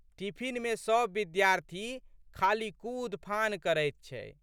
टिफिनमे सब विद्यार्थी खाली कूदफान करैत छै।